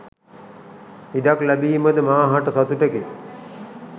ඉඩක් ලැබීමද මා හට සතුටකි